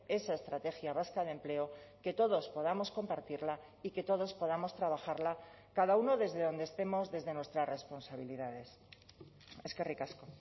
esa estrategia vasca de empleo que todos podamos compartirla y que todos podamos trabajarla cada uno desde dónde estemos desde nuestras responsabilidades eskerrik asko